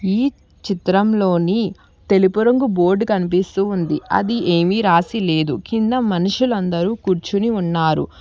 ఈ చిత్రంలోని తెలుపు రంగు బోర్డ్ కన్పిస్తూ ఉంది ఆది ఏమి రాసి లేదు కింద మనుషులందరూ కూర్చుని ఉన్నారు.